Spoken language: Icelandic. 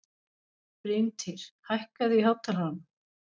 Bryntýr, hækkaðu í hátalaranum.